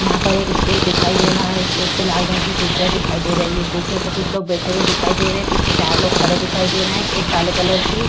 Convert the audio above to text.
यहाँ पर एक स्टेज दिखाई दे रहा है। स्टेज पर लाल रंग की कुर्सिया दिखाई दे रही है। कुर्सियों पे कुछ लोग बैठे हुए दिखाई दे रहे हैं पीछे चार लोग खड़े हुए दिखाई दे रहे हैं एक काले कलर की --